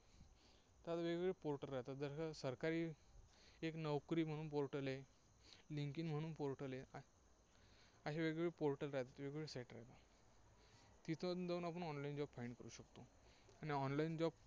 तर वेगवगळे portal आहेत. जसं सरकारी एक नोकरी म्हणून portal आहे. लिंक्डइन म्हणून portal आहे. असे वेगवेगळे portal आहेत. वेगवेगळ्या Site आहेत. तिथं जाऊन आपण online job find करू शकतो. आणि online job